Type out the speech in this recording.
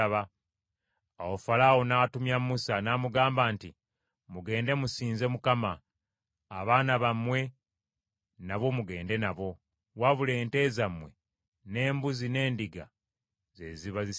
Awo Falaawo n’atumya Musa, n’amugamba nti, “Mugende musinze Mukama . Abaana bammwe nabo mugende nabo, wabula ente zammwe, n’embuzi n’endiga ze ziba zisigala.”